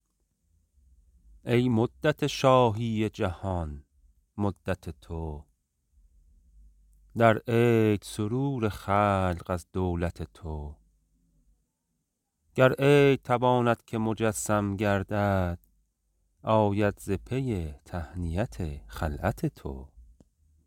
ای مدت شاهی جهان مدت تو در عید سرور خلق از دولت تو گر عید تواند که مجسم گردد آید ز پی تهنیت خلعت تو